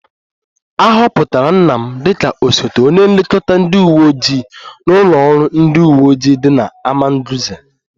A họpụtara nna m dịka osote onye nlekọta ndị uwe ojii n'ụlọ ọrụ ndị uwe ojii dị n'Amagunze